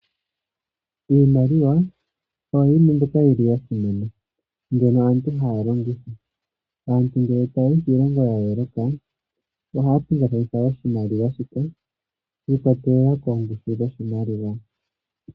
Iimaliwa oyo yili ya simana mbyono aantu haya longitha aantu uuna taayi kiilongo yaa yoooloka ohaa pingakanitha oshimaliwa .